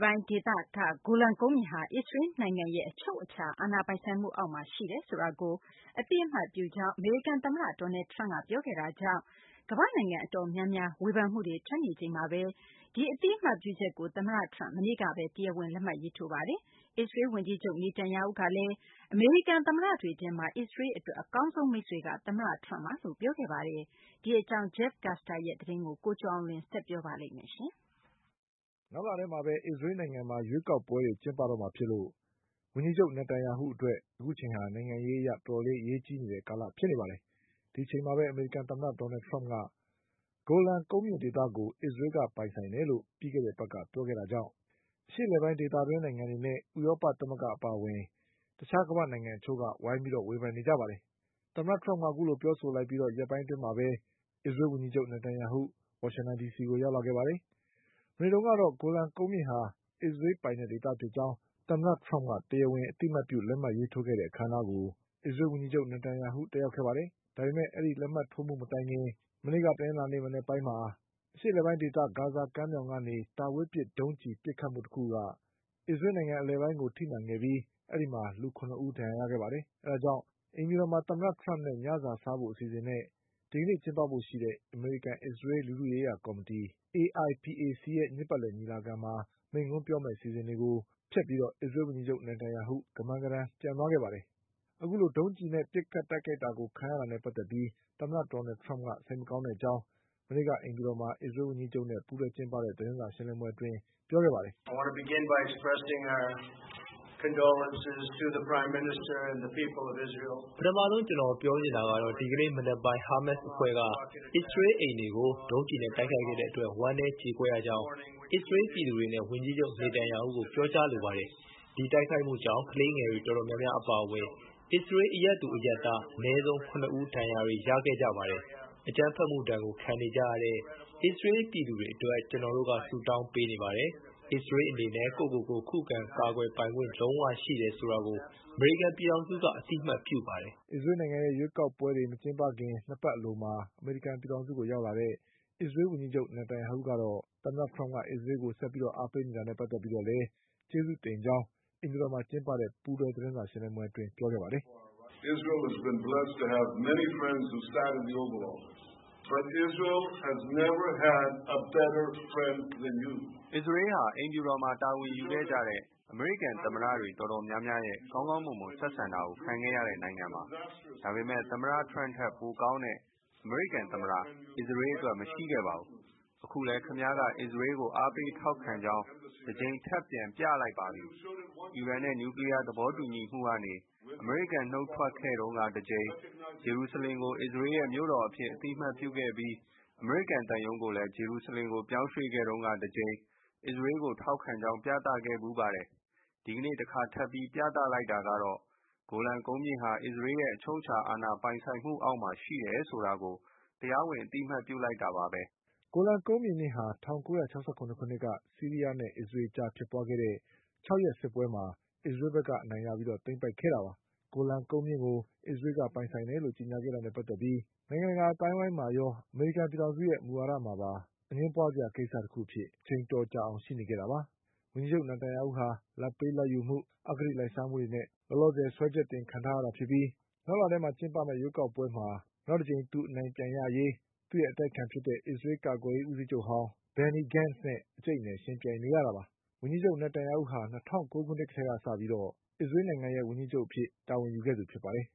ပိုင်းဒေသက ဂိုလန်ကုန်းမြင့်ဟာ အစ္စရေးနိုင်ငံရဲ့အချုပ်အခြာအာဏာပိုင်ဆိုင်မှု အောက်မှာရှိတယ် ဆိုတာ ကို အသိအမှတ်ပြုကြောင်း အမေရိကန်သမ္မတဒေါ်နလ်ထရမ့်ကပြောခဲ့တာကြောင့် ကမ္ဘာ့နိုင်ငံတော်တော်များများ ဝေဖန် မှုတွေထွက်နေချိန်မှာပဲ ဒီအသိအမှတ်ပြုချက်ကို သမ္မတထရမ့် မနေ့ကပဲတရားဝင် လက်မှတ်ထိုးခဲ့ပါတယ်။ အစ္စရေးဝန် ကြီးချုပ် Benjamin Netanyahu ကလည်း အမေရိကန်သမ္မတတွေထဲမှာ အစ္စရေးအတွက်အကောင်းဆုံး မိတ်ဆွေကတော့ သမ္မတထရမ့် ပါပဲလို့ပြောခဲ့ပါတယ်။ ဒီအကြောင်း Jeff Custer ရဲ့သတင်းကို ကိုကျော်အောင်လွင်ဆက် ပြောပါလိမ့်မယ်။ နောက်လထဲမှာပဲ အစ္စရေးနိုင်ငံမှာ ရွေးကောက်ပွဲတွေကျင်းပတော့မှာဖြစ်လို့ ဝန်ကြီးချုပ် Netanyahu အတွက် နိုင်ငံ ရေးအရ တော်တော် အရေးကြီးတဲ့ကာလဖြစ်နေပါတယ်။ ဒီအချိန်မှာပဲ အမေရိကန်သမ္မတဒေါ်နလ်ထရမ့်က ဂိုလန်ကုန်း မြင့်ဒေသကို အစ္စရေးကပိုင်တယ်လို့ ပြီးခဲ့တဲ့အပတ်က ပြောခဲ့တာကြောင့် အရှေ့အလယ်ပိုင်းဒေသတွင်းနိုင်ငံတွေနဲ့ ဥရောပသမဂ္ဂအပါအဝင် တခြားကမ္ဘာ့နိုင်ငံတချို့က ဝိုင်းပြီးဝေဖန်နေကြတာပါ။ သမ္မတထရမ့်ကအခုလိုပြောဆိုလိုက်ပြီး ရက်ပိုင်းအတွင်းမှာပဲ အစ္စရေးဝန်ကြီးချုပ် Netanyahu ဝါရှင်တန်ဒီစီကိုရောက်လာပါတယ်။ မနေ့တုန်းကတော့ ဂိုလန်ကုန်းမြင့်ဟာ အစ္စရေးပိုင်တဲ့ဒေသဖြစ်ကြောင်း သမ္မတထရမ့်က တရားဝင်အသိအမှတ်ပြုလက်မှတ်ရေးထိုးခဲ့တဲ့ အခမ်းအနားကို အစ္စရေးဝန်ကြီးချုပ် Netanyahu တက်ရောက်ခဲ့ပါတယ်။ ဒါပေမဲ့ ဒီလက်မှတ်ထိုးမှုမတိုင်ခင် မနေ့က တနင်္လာနေ့မနက်ပိုင်းမှာတော့ အရှေ့အလယ်ပိုင်းဒေသ ဂါဇာကမ်းမြောင်ကနေ တာဝေးပစ်ဒုံးကျည်ပစ်ခတ်မှုတခုက အစ္စရေးနိုင်ငံအလည်ပိုင်းကိုထိမှန်ခဲ့ပြီး အဲဒီမှာလူ ၇ဦး ဒဏ်ရာရခဲ့ပါတယ်။ အဲဒါကြောင့် အိမ်ဖြူတော်မှာ သမ္မတထရမ့်နဲ့ ညစာစားဖို့ အစီအစဉ်နဲ့ ဒီကနေ့ကျင်းပဖို့ရှိတဲ့ အမေရိကန်အစ္စရေး လူထုရေးရာကော်မီတီ AIPAC ရဲ့ နှစ်ပတ်လည်ညီလာ ခံမှာ မိန့်ခွန်းပြောမယ့် အစီအစဉ်တွေကို ဖျက်ပြီးအစ္စရေးကို ဝန်ကြီးချုပ် Netanyahu ကမန်းကတန်းပြန်သွားခဲ့ပါတယ်။ အခုလိုဒုံးကျည်နဲ့ ပစ်ခတ်တိုက်ခိုက်တာကိုခံခဲ့ရတာနဲ့ပတ်သက်ပြီး သမ္မတဒေါ်နလ်ထရမ့်က စိတ်မကောင်းတဲ့အကြောင်း မနေ့က အိမ်ဖြူတော်မှာ အစ္စရေးဝန်ကြီးချုပ်နဲ့ ပူးတွဲကျင်းပတဲ့သတင်းစာရှင်းလင်းပွဲမှာပြောခဲ့ပါတယ်။ “ပထမဆုံးကျနော်ပြောချင်တာကတော့ ဒီကနေ့မနက်ပိုင်း ဟားမတ်စ်အဖွဲ့က အစ္စရေးအိမ်တွေကို ဒုံးကျည်နဲ့တိုက်ခိုက်ခဲ့တဲ့အတွက် ဝမ်းနည်းကြေကွဲရကြောင်း အစ္စရေးပြည်သူတွေနဲ့ ဝန်ကြီးချုပ် Netanyahu ဟုကို ပြောကြားလိုပါတယ်။ ဒီတိုက်ခိုက်မှုကြောင့် ကလေးငယ်တွေတော်တော်များများအပါအဝင် အစ္စရေးအရပ်သူအရပ်သားအနည်းဆုံး၇ဦး ဒဏ်ရာ တွေရခဲ့ကြပါတယ်။ အကြမ်းဖက်မှုဒဏ်ကိုခံနေကြရတဲ့ အစ္စရေးပြည်သူတွေအတွက် ကျနော်တို့ကဆုတောင်းပေးနေပါတယ်။ အစ္စရေးအနေနဲ့ ကိုယ့်ကိုယ်ကို ခုခံကာကွယ်ပိုင်ခွင့် လုံးဝရှိတယ်ဆိုတာကို အမေရိကန်ပြည်ထောင်စုကအသိ အမှတ်ပြုပါတယ်” အစ္စရေးနိုင်ငံရဲ့ရွေးကောက်ပွဲတွေ မကျင်းပခင် ၂ပတ်အလိုမှာ အမေရိကန်ပြည်ထောင်စုကိုရောက်လာတဲ့ အစ္စရေးဝန်ကြီးချုပ် Netanyahu ကတော့ သမ္မတထရမ့်က အစ္စရေးကိုဆက်ပြီးအားပေးနေတာနဲ့ပတ်သက်ပြီးတော့လည်း ကျေးဇူး တင်ကြောင်း အိမ်ဖြူတော်မှာကျင်းပတဲ့ ပူးတွဲသတင်းစာရှင်းလင်းပွဲ အတွင်းပြောခဲ့ပါတယ်။ “အစ္စရေးဟာ အိမ်ဖြူတော်မှာတာဝန်ယူခဲ့ကြတဲ့ အမေရိကန်သမ္မတတွေ တော်တော်များများ ရဲ့ ကောင်းကောင်းမွန်မွန် ဆက်ဆံတာကို ခံခဲ့ရတဲ့နိုင်ငံပါ။ ဒါပေမဲ့ သမ္မတထရမ့်ထက် ပိုကောင်းတဲ့အမေရိကန်သမ္မတ အစ္စရေးအတွက်မရှိခဲ့ပါဘူး။ အခုလည်း ခင်ဗျားက အစ္စရေးကို အားပေးထောက်ခံကြောင်း တကြိမ်ထပ်ပြလိုက်ပြန်ပါပြီ။ အီရန်နဲ့ နျူကလီးယားသဘော တူညီမှုကနေ အမေရိကန်ကနုတ်ထွက်ခဲ့တုန်းကတကြိမ်၊ ဂျေရုဆလင်ကို အစ္စရေးရဲ့မြို့တော်အဖြစ်အသိအမှတ်ပြုခဲ့ပြီး အမေရိကန်သံရုံးကိုလည်း ဂျေရုဆလင်ကို ပြောင်းရွှေ့ခဲ့တုန်းကတကြိမ် အစ္စရေးကိုထောက်ခံကြောင်း ပြသခဲ့ဖူးပါတယ်။ ဒီကနေ့တခါထပ်ပြီး ပြသလိုက်တာကတော့ ဂိုလန်ကုန်းမြင့်ဟာ အစ္စရေးရဲ့ အချုပ်အခြာအာဏာပိုင်ဆိုင်မှုအောက်မှာ ရှိတယ်ဆိုတာကို တရားဝင်အသိအမှတ်ပြုလိုက်တာပါပဲ” ဂိုလန်ကုန်းပြင်မြင့်ဟာ ၁၉၆၇ခုနှစ်က ဆီးရီးယားနဲ့ အစ္စရေးအကြားဖြစ်ပွားခဲ့တဲ့ ၆ရက်စစ်ပွဲမှာ အစ္စရေးကသိမ်းပိုက်ခဲ့တာပါ။ ဂိုလန်ကုန်းမြင့်ကို အစ္စရေးကပိုင်ဆိုင်တယ် လို့ကြေညာခဲ့တာနဲ့ပတ်သက်ပြီး နိုင်ငံတကာအသိုင်းအဝိုင်းမှာရော၊ အမေရိ ကန်ပြည်ထောင်စုရဲ့ မူဝါဒမှာပါ အငြင်းပွါးစရာကိစ္စတခုအဖြစ် အချိန်အတော်ကြာအောင်ရှိနေခဲ့တာပါ။ ဝန်ကြီးချုပ် Netanyahu ဟာ လာဘ်ပေးလာဘ်ယူမှု၊ အဂတိလိုက်စားမှုတွေနဲ့ စွဲချက် တင်ခံထားရတာဖြစ်ပြီး နောက်လမှာကျင်းပမယ့် ရွးကောက်ပွဲမှာနောက်တကြိမ်အနိုင်ရရေး သူ့ရဲ့အတိုက်ခံ အစ္စရေး ကာ ကွယ်ရေးဦးစီးချုပ်ဟောင်း Benny Gantzနဲ့ အကြိတ်အနယ်ယှဉ်ပြိုင်နေရတာပါ။ ဝန်ကြီးချုပ် Netanyahu ဟာ ၂၀၀၉ခု နှစ်ကတည်းကစပြီး အစ္စရေးနိုင်ငံရဲ့ဝန်ကြီးချုပ်အဖြစ်တာဝန်ယူခဲ့သူဖြစ်ပါတယ်